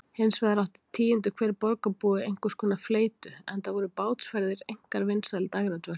Hinsvegar átti tíundi hver borgarbúi einhverskonar fleytu, enda voru bátsferðir einkar vinsæl dægradvöl.